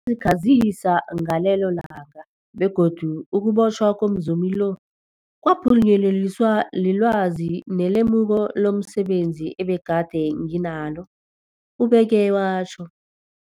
khazisa ngegalelo lami, begodu ukubotjhwa komzumi lo kwaphunyeleliswa lilwazi nelemuko lomse benzi ebegade nginalo, ubeke watjho.